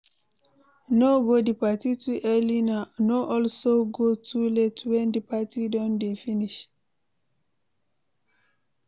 No go di parti too early no also go too late when the parti don de finish